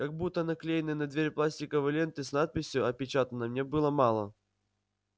как будто наклеенной на дверь пластиковой ленты с надписью опечатано мне было мало